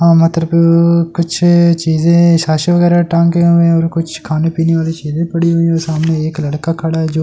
अह मतरब अ अ कुछ चीज़े शाशी वगैरा टाँगे हुए है और कुछ खाने पीने वाली चीज़े पड़ी हुई है और सामने एक लड़का खड़ा है जो --